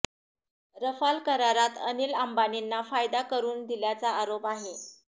Rafale करारात अनिल अंबानींना फायदा करून दिल्याचा आरोप आहे